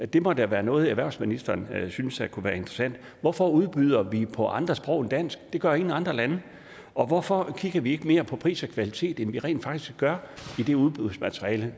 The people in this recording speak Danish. det må da være noget erhvervsministeren synes kunne være interessant hvorfor udbyder vi på andre sprog end dansk det gør ingen andre lande og hvorfor kigger vi ikke mere på pris og kvalitet end vi rent faktisk gør i det udbudsmateriale